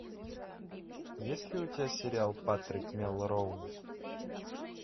есть ли у тебя сериал патрик мелроуз